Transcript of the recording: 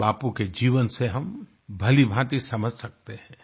ये बापू के जीवन से हम भलीभांति समझ सकते हैं